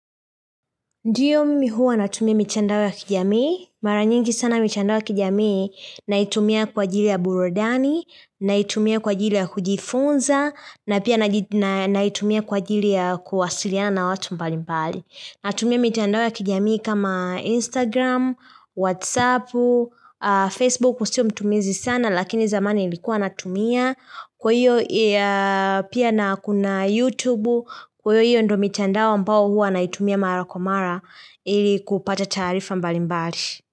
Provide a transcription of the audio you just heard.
Ndiyo mimi huwa natumia mitandao ya kijamii. Mara nyingi sana mitandao ya kijamii naitumia kwa ajili ya burudani, naitumia kwa ajili ya kujifunza, na pia naitumia kwa ajili ya kuwasiliana na watu mbali mbali. Natumia mitandao ya kijamii kama Instagram, Whatsapp, Facebook sio mtumizi sana lakini zamani ilikuwa natumia. Kwa hiyo pia na kuna YouTube kwa hiyo hiyo ndo mitandao ambao huwa naitumia mara kwa mara ili kupata taarifa mbalimbali.